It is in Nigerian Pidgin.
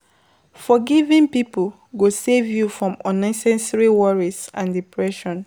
Forgiving people go save you from unnecessary worries and depression